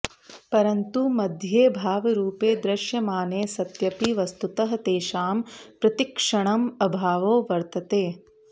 परन्तु मध्ये भावरूपे दृश्यमाने सत्यपि वस्तुतः तेषां प्रतिक्षणम् अभावो वर्तते